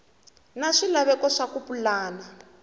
na swilaveko swa ku pulana